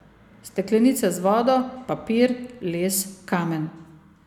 Steklenice z vodo, papir, les, kamen.